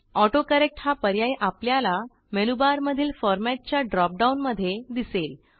autocorrect हा पर्याय आपल्याला मेनूबार मधील फॉर्मॅट च्या ड्रॉप डाऊन मध्ये दिसेल